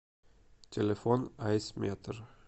телефон айсметр